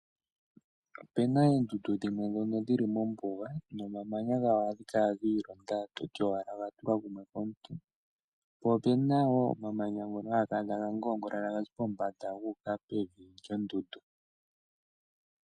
Opuna oondundu dhimwe dhili mombuga, omamanya gadho ohaga kala giilonda nongele owe gaadha oto hala kutya oha tulwa kumwe komuntu. Opena wo omamanya gamwe haga kala taga ngoongolo kuza pombanda kuya pevi lyondundu.